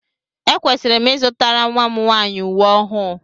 Ekwesịrị m ịzụtara nnwa m nwaanyị uwe ọhụụ